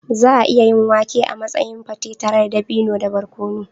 Za a iya yin wake a matsayin pate tare da dabino da barkono.